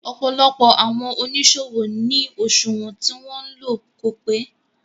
Ọ̀pọ̀lọpọ̀ àwọn oníṣòwò ní òṣùwọ̀n tí wọn ń lò kò pé.